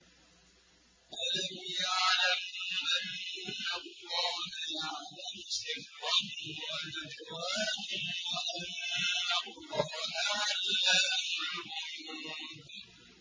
أَلَمْ يَعْلَمُوا أَنَّ اللَّهَ يَعْلَمُ سِرَّهُمْ وَنَجْوَاهُمْ وَأَنَّ اللَّهَ عَلَّامُ الْغُيُوبِ